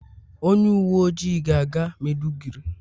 onye uwe ojii ga-aga maiduguri.